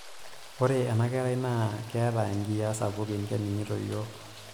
Ore ena kerai naa keeta nkiyiaa sapukin keningito yiok.